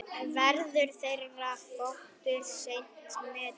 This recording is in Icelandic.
Verður þeirra þáttur seint metinn.